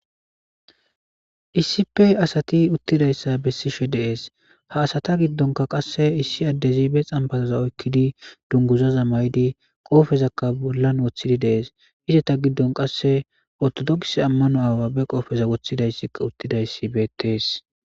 iisipe asati uttidayssa bessishe deees ha asata giddonka qasse issi addezibe xambaroza oykkidi dunguzaza maydi qoofezakka bollan woththidi dees hise ta giddon qasse ortodoks ammano awaabe qoofeza woththidayssika uttidayssi betees